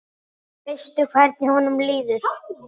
Veistu hvernig honum líður?